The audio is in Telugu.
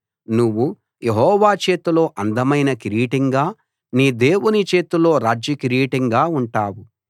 నువ్వు యెహోవా చేతిలో అందమైన కిరీటంగా నీ దేవుని చేతిలో రాజ్యకిరీటంగా ఉంటావు